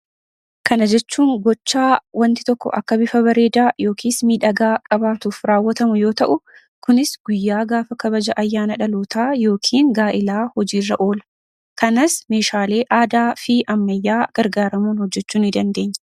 Kana jechuun gochaa wanti tokko akka bifa bareedaa yookiis miidhagaa qabaatuuf raawwatamu yoo ta'u kunis guyyaa gaafa kabaja ayyaana dhalootaa yookin gaa'ilaa hojiirra oola kanas meeshaalee aadaa fi ammayyaa gargaaramuun hojjechuu ni dandeenya.